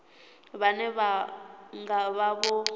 vhane vha nga vha vho